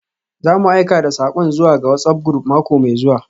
Za mu aika da sakon zuwa ga WhatsApp group mako mai zuwa.